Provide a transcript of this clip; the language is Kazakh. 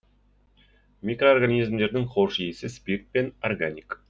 микроорганизмдердің хош иісі спирт пен органик